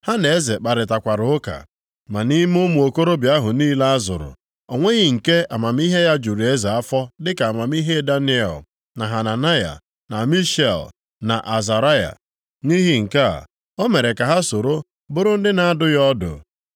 Ha na eze kparịtakwara ụka. Ma nʼime ụmụ okorobịa ahụ niile a zụrụ, o nweghị nke amamihe ya juru eze afọ dịka amamihe Daniel, na Hananaya, na Mishael, na Azaraya. Nʼihi nke a, o mere ka ha soro bụrụ ndị na-adụ ya ọdụ.